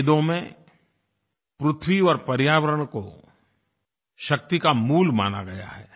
वेदों में पृथ्वी और पर्यावरण को शक्ति का मूल माना गया है